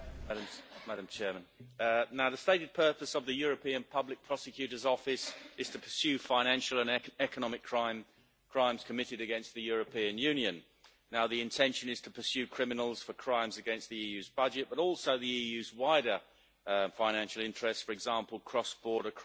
Madam President, the stated purpose of the European Public Prosecutor's Office is to pursue financial and economic crimes committed against the European Union. Now, the intention is to pursue criminals for crimes against the EU's budget, but also the EU's wider financial interests, for example cross border crime